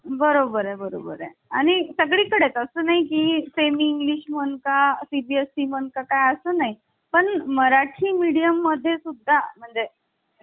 त्याचा उल्लेख संघराज्य. संघराज्य हा उल्लेख कधी केला जातो जेव्हा अनेक राज्य मिळून एक देश स्थापन करतात जस कि अमेरिका तेव्हा त्याचा उल्लेख संघराज्य म्हणून करता येतो तर भारतीय राज्य